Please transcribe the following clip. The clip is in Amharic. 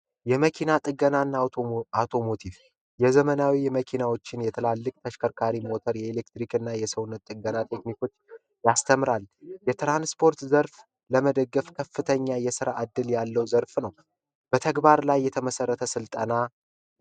የመኪና ጥገናና አውቶሞቲቭ የዘመናዊ የመኪናዎችን የትላልቅ ተሽከርካሪ ሞተር የኤሌክትሪክ እና የሰውነት ጥገና ቴክኒኮች ያስተምራል ስፖርት ዘርፍ ለመደገፍ ከፍተኛ የራ እድል ያለው ዘርፍ ነው በተግባር ላይ የተመሰረተ ስልጠና